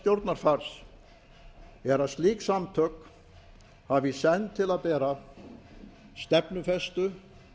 stjórnarfars er að slík samtök hafi í senn til að bera stefnufestu